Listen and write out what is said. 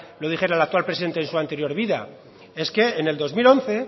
lo dijera el actual presidente en su anterior vida es que en el dos mil once